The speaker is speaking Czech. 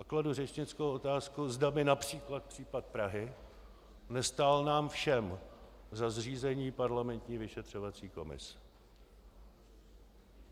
A kladu řečnickou otázku, zda by například případ Prahy nestál nám všem za zřízení parlamentní vyšetřovací komise.